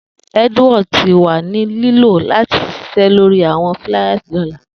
Edward ti wa ni lilọ lati sise lori awọn fliers ọla.